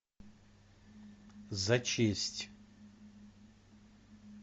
за честь